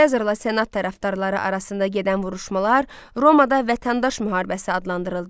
Sezarla senat tərəfdarları arasında gedən vuruşmalar Romada vətəndaş müharibəsi adlandırıldı.